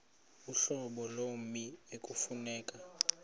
uhlobo lommi ekufuneka